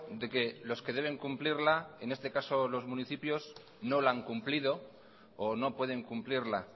de que los que deben cumplirla en este caso los municipios no la han cumplido o no pueden cumplirla